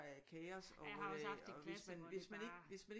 Er kaos og hvis man ikke